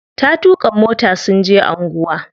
Ta tuƙa mota sun je anguwa.